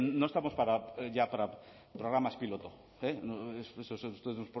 no estamos ya para programas piloto ustedes